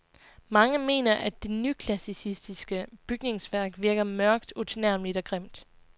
Mange mener, at det nyklassicistiske bygningsværk virker mørkt, utilnærmeligt og grimt.